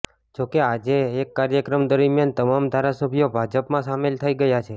જો કે આજે એક કાર્યક્રમ દરમિયામ તમામ ધારાસભ્યો ભાજપમાં સામેલ થઈ ગયા છે